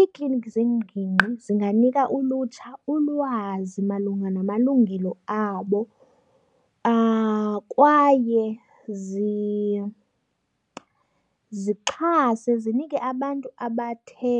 Iikliniki zengingqi zinganika ulutsha ulwazi malunga namalungelo abo kwaye zixhase zinike abantu abathe